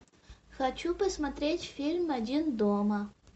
хочу посмотреть фильм один дома